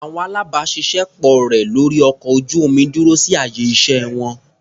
Àwọn alábàáṣiṣé pọ̀ rẹ̀ lórí ọkọ̀ ojú-omi dúró sí àyè iṣẹ́ wọn.